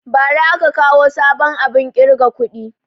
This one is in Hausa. Bara aka kawo sabon abun ƙirga kuɗi